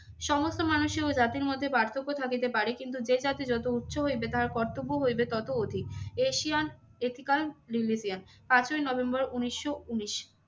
সমস্ত মানুষ ও জাতির মধ্যে পার্থক্য থাকিতে পারে কিন্তু যে জাতি যত উচ্চ হইবে তাহার কর্তব্য হইবে তত অধিক। এশিয়ান এথিক্যাল রিলিজিয়ান পাঁচই নভেম্বর উনিশশো উনিশ।